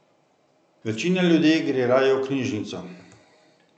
Večina ljudi gre raje v knjižnico.